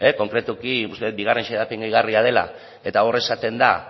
konkretuki uste dut bigarren xedapen gehigarria dela eta hor esaten da